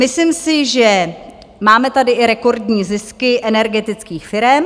Myslím si, že máme tady i rekordní zisky energetických firem.